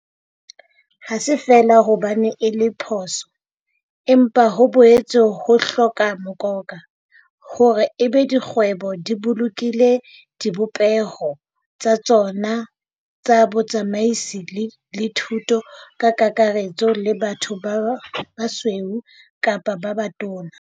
Ha se feela hobane ho le phoso, empa ho boetse ho hloka mokoka, hore e be di kgwebo di bolokile dibopeho tsa tsona tsa botsamaisi le thuo ka kakaretso e le batho ba basweu kapa ba batona.